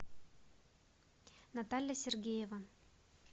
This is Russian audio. наталья сергеева